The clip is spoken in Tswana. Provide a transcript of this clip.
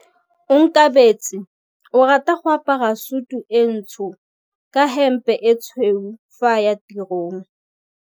Onkabetse o rata go apara sutu e ntsho ka hempe e tshweu fa a ya tirong.